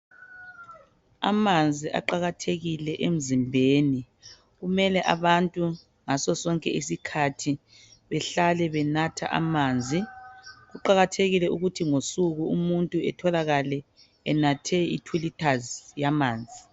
Amanzi aqakathekile emzimbeni kumele abantu ngasosonke isikhathi behlale benatha amanzi kuqakathekile ukuthi ngosuku umuntu etholakale enathe itwo liters yamanzi.